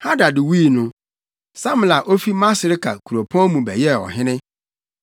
Hadad wui no, Samla a ofi Masreka kuropɔn mu bɛyɛɛ ɔhene.